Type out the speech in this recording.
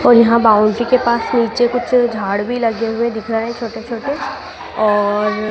और यहां बाउंड्री के पास नीचे कुछ झाड़ भी लगे हुए दिख रहे हैं छोटे छोटे और--